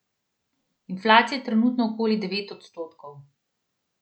Inflacija je trenutno okoli devet odstotkov.